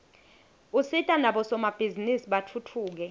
usita nabosomabhizinisi batfutfuke